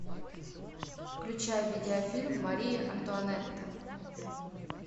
включай видеофильм мария антуанетта